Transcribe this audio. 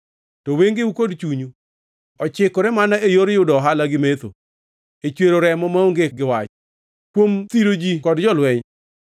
“To wengeu kod chunyu ochikore mana e yor yudo ohala gi mecho, e chwero remo maonge gi wach kuom thiro ji kod lweny.”